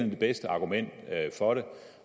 det bedste argument for det